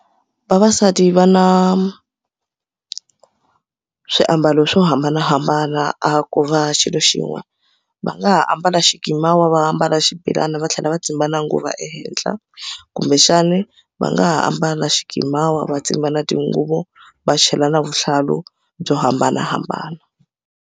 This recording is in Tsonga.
Vavasati va na swiambalo swo hambanahambana a ko va xilo xin'we va nga ha ambala xikimawa va ambala xibelani va tlhela va tsimba na nguva ehenhla kumbexani va nga ha ambala xikimawa va tsimba na tinguva va chela na vuhlalu byo hambanahambana.